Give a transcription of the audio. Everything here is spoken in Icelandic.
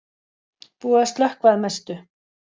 Búið að slökkva að mestu